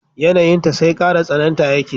Yanayinta sai kara tsananta yake